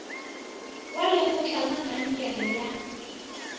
wa lekgotla la kankere ya